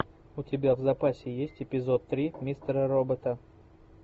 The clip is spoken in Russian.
у тебя в запасе есть эпизод три мистера робота